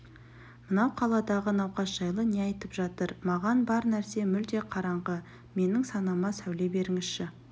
мынау қаладағы науқас жайлы не айтып жатыр маған бар нәрсе мүлде қараңғы менің санама сәуле беріңізші